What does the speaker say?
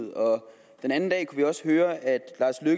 den anden dag kunne vi også høre at